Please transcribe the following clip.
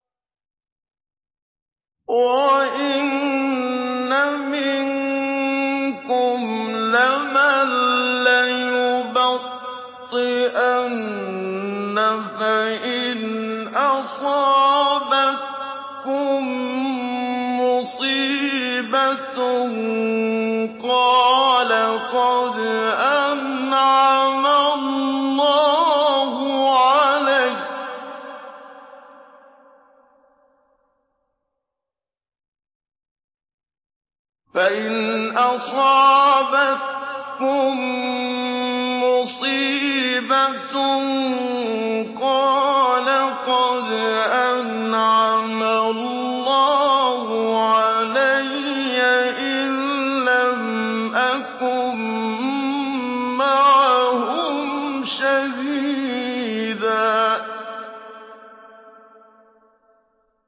وَإِنَّ مِنكُمْ لَمَن لَّيُبَطِّئَنَّ فَإِنْ أَصَابَتْكُم مُّصِيبَةٌ قَالَ قَدْ أَنْعَمَ اللَّهُ عَلَيَّ إِذْ لَمْ أَكُن مَّعَهُمْ شَهِيدًا